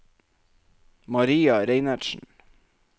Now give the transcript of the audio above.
Maria Reinertsen